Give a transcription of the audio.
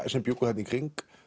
sem bjuggu þarna í kring